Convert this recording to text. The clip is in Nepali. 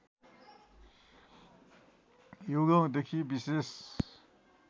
युगौँदेखि विशेष